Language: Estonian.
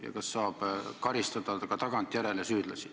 Ja kas süüdlasi saab karistada ka tagantjärele?